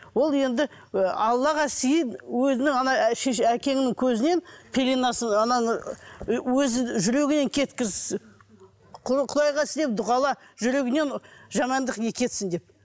ол енді ы аллаға сыйын өзінің шеше әкеңнің көзінен пеленасын ананы өзі жүрегінен кеткіз құдайға сен дұғала жүрегінен жамандық не кетсін деп